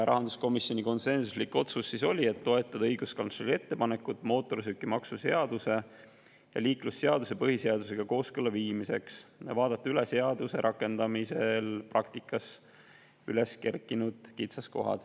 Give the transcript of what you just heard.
Rahanduskomisjoni konsensuslik otsus oli toetada õiguskantsleri ettepanekut mootorsõidukimaksu seaduse ja liiklusseaduse põhiseadusega kooskõlla viimiseks ja vaadata üle seaduse rakendamisel praktikas üles kerkinud kitsaskohad.